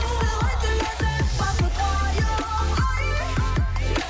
сыйлайтын ләззат бақыт уайым